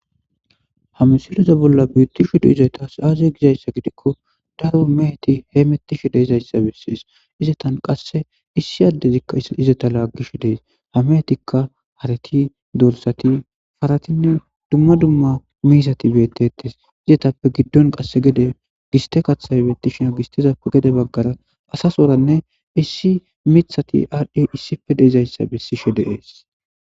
hamsiliza bolla biittishe dizayasaaze gizayssa gidikko daro meheti hee mettishe deezayssa bessees izetan qasse issi addezikka izeta laaggish dees hamehetikka harati dorsati faratinne dumma dumma miisati beettetes izetappe giddon qasse gede giste kathay beettishina gistezappe gede baggara asasoranne issi mithati aadhdhe issife deezayssa bessishe de'ees